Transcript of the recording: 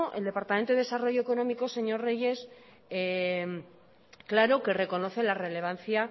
el departamento de desarrollo económico señor reyes claro que reconoce la relevancia